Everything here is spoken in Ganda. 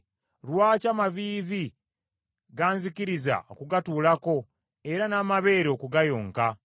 Lwaki amaviivi ganzikiriza okugatuulako era n’amabeere okugayonka?